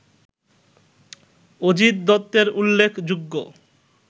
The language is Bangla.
অজিত দত্তের উল্লেখযোগ্য